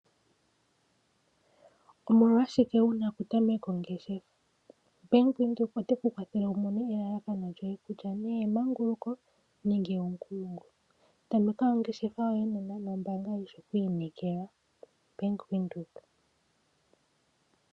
Omolwashike wuna okutameka ongeshefa? Bank Windhoek oteku kwathele wu mone elalakano lyoye kutya nee emanguluko nenge omukumo. Tameka ongeshefa yoye nena nombaanga yishi oku inekelwa Bank Windhoek.